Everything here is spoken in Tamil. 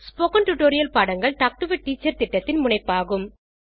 ஸ்போகன் டுடோரியல் பாடங்கள் டாக் டு எ டீச்சர் திட்டத்தின் முனைப்பாகும்